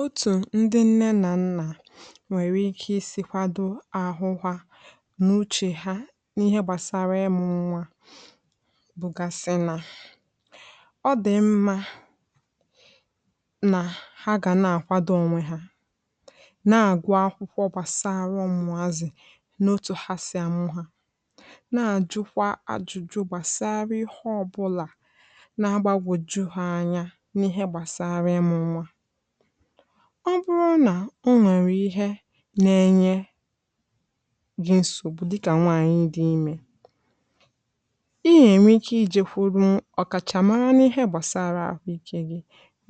Otu ndị nne na nna nwere ike isi kwado ahụ ha n’uche ha n’ihe gbasara ịmụ nwa bụgasị na ọ dị mma na ha ga na-akwado onwe ha, na-agụ akwụkwọ gbasara ọmụmụ ụmụ azị n’otu ha si amụ ha. Ha na-ajụkwa ajụjụ gbasara ihe ọbụla na-agbagwoju ha anya na ihe gbasara ịmụ nwa. Ọ bụrụ na o nwere ihe na-enye gị nsogbu, dịka nwaanyị dị ime, ị nwere ike ịjekwuru ọkachamara na ihe gbasara ahụike gị,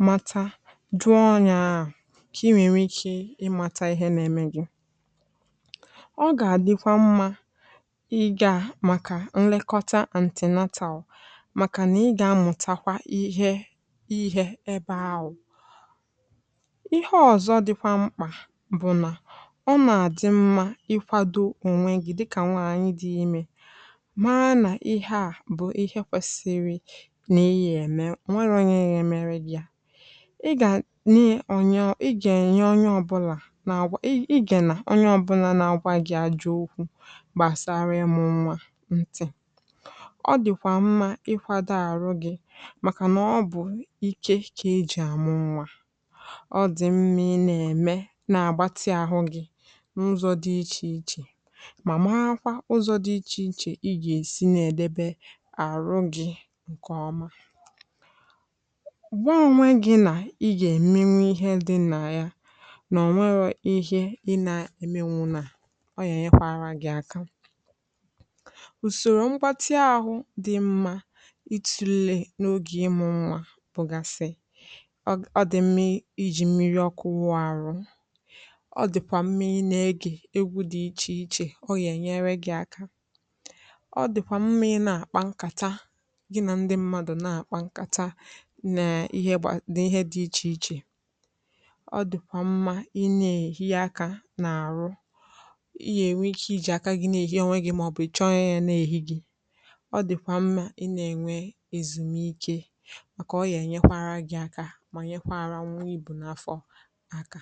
mata ma dụọ onye ahụ ka i nwee ike ịmata ihe na-eme gị. Ọ ga-adịkwa mma ịmara gbasara nlekọta antinatal, maka na ị ga-amụta ihe. Ihe ọzọ dịkwa mkpa bụ na ọ na-adị mma ịkwado onwe gị dịka nwaanyị dị ime, ma na ihe a bụ ihe kwesiri n’ịya eme nwa ronyeghị emere gị ya. I ga na-ị bụ onye ọ? Ị ga-enye onye ọbụla, na àgwà i ga na onye ọbụla na-agwa gị ajọ okwu gbasara ịmụ nwa? N’ịtụle nke a, ọ dịkwa mma ịkwado àrụ gị, maka na ọ bụ ike, ọ dị mma, na-eme na-agbatị ahụ gị n’ụzọ dị iche iche. Ma, mara kwa ụzọ dị iche iche ị ga-esi na-ede àrụ gị nke ọma. Ụgbọ a, onwe gị na ihe ị ga-eme na ya — na ọ bụrụ na ihe ị na-eme na-eme gị aka — usoro ngwa ahụ dị mma. Ịtụle n’oge ọmụmụ nwa bụgasị: Ọ dị mmiri ọkụ: wụpụta àrụ. Ọ dị pà mmiri: na-ege egwu dị iche iche. Ọ ga-enyere gị aka. Ọ dị pà mmiri: na-akpa nkata gị na ndị mmadụ na-akpa nkata. Ọ na-ewepụta ihe dị iche iche. Ọ dị pà mmiri: na-enwe aka n’àrụ. Ị ga-enwe ike iji aka gị na-ehi onwe gị, maọbụ ị chọọ ka ọ na-ehi gị. Ọ dị pà mmiri: àrụ i na-enwe ezumike aka.